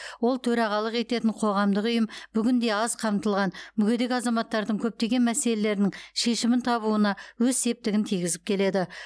ол төрағалық ететін қоғамдық ұйым бүгінде аз қамтылған мүгедек азаматтардың көптеген мәселелерінің шешімін табуына өз септігін тигізіп келеді